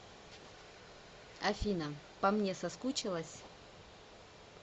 афина по мне соскучилась